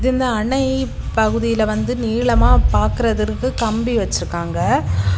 இந்த அணைப்பகுதியில வந்து நீளமா பாக்குறதற்கு கம்பி வெச்சிருக்காங்க.